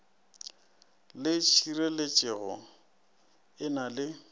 le tšhireletšego e na le